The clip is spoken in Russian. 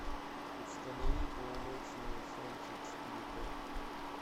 установи полуночное солнце четыре ка